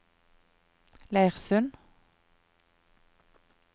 Leirsund